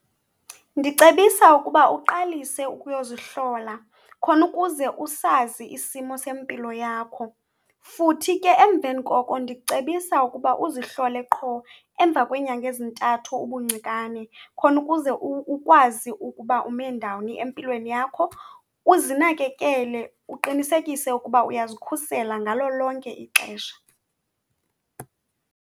Ndicebisa ukuba uqalise ukuyozihlola khona ukuze usazi isimo sempilo yakho, futhi ke emveni koko ndicebisa ukuba uzihlole qho emva kweenyanga ezintathu ubuncikane khona ukuze ukwazi ukuba ume ndawoni empilweni yakho uzinakekele uqinisekise ukuba uyazikhusela ngalo lonke ixesha.